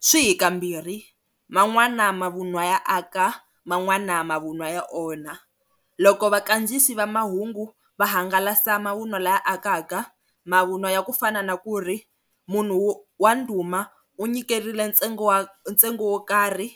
Swi hi kambirhi man'wana mavunwa ya aka man'wana mavunwa ya onha loko vakandziyisi va mahungu va hangalasa mavunwa lawa ya akaka mavunwa ya kufana na ku ri, munhu wa ndhuma u nyikerile ntsengo wa ntsengo wo karhi